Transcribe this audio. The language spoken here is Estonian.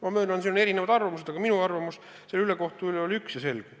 Ma möönan, et on erinevaid arvamusi, aga minu arvamus selle ülekohtu asjus on üks ja selge.